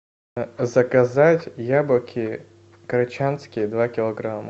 заказать яблоки корочанские два килограмма